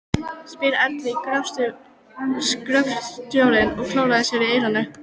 spyr eldri gröfustjórinn og klórar sér í eyranu.